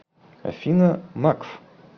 афина макф